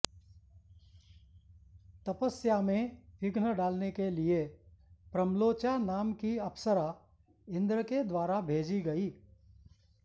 तपस्या में विघ्न डालने के लिये प्रम्लोचा नाम की अप्सरा इन्द्र के द्वारा भेजी गयी